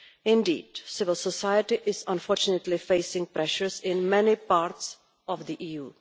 Indeed, civil society is unfortunately facing pressures in many parts of the EU.